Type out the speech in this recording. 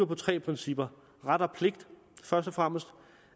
på tre principper først og fremmest